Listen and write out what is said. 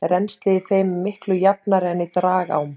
Rennsli í þeim er miklu jafnara en í dragám.